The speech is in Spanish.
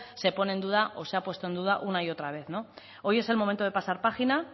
se pone en duda o se ha puesto en duda una y otra vez hoy es el momento de pasar página